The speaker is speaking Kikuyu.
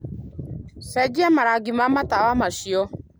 ũcenjie marangi ma matawa macio